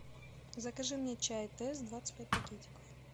закажи мне чай тесс двадцать пять пакетиков